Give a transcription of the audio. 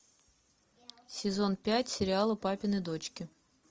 сезон пять сериала папины дочки